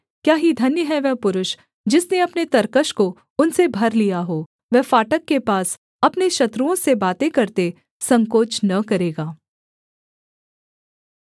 क्या ही धन्य है वह पुरुष जिसने अपने तरकश को उनसे भर लिया हो वह फाटक के पास अपने शत्रुओं से बातें करते संकोच न करेगा